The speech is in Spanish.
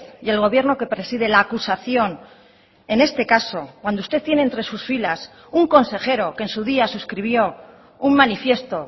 y el gobierno que preside la acusación en este caso cuando usted tiene entre sus filas un consejero que en su día suscribió un manifiesto